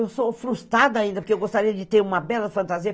Eu sou frustada ainda, porque eu gostaria de ter uma bela fantasia.